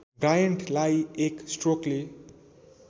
ब्रायन्टलाई एक स्ट्रोकले